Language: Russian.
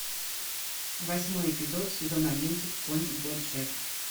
восьмой эпизод сезон одиннадцать конь боджек